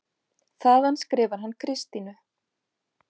Þaðan skrifar hann Kristínu